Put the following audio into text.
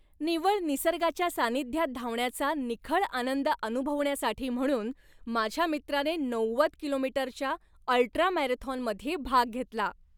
निव्वळ निसर्गाच्या सानिध्यात धावण्याचा निखळ आनंद अनुभवण्यासाठी म्हणून माझ्या मित्राने नव्वद कि.मी.च्या अल्ट्रा मॅरेथॉनमध्ये भाग घेतला.